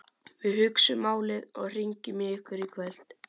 Við hugsum málið og hringjum í ykkur í kvöld